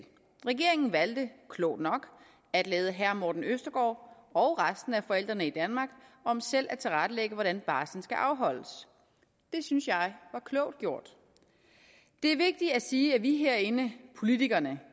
regeringen valgte klogt nok at lade herre morten østergaard og resten af forældrene i danmark om selv at tilrettelægge hvordan barslen skal afholdes det synes jeg var klogt gjort det er vigtigt at sige at vi herinde politikerne